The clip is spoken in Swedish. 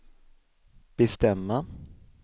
bestämma